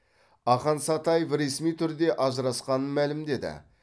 ақан сатаев ресми түрде ажырасқанын мәлімдеді